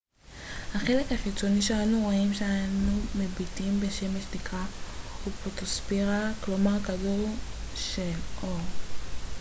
החלק החיצוני שאנו רואים כשאנו מביטים בשמש נקרא הפוטוספירה כלומר כדור של אור